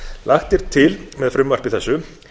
lagt er til með frumvarpi þessu